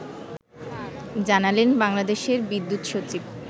জানালেন বাংলাদেশের বিদ্যুৎ সচিব